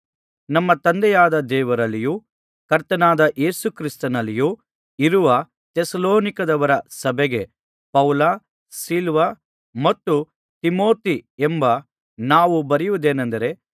ನಮ್ಮ ತಂದೆಯಾದ ದೇವರಲ್ಲಿಯೂ ಕರ್ತನಾದ ಯೇಸು ಕ್ರಿಸ್ತನಲ್ಲಿಯೂ ಇರುವ ಥೆಸಲೋನಿಕದವರ ಸಭೆಗೆ ಪೌಲ ಸಿಲ್ವಾನ ಮತ್ತು ತಿಮೊಥೆ ಎಂಬ ನಾವು ಬರೆಯುವುದೇನಂದರೆ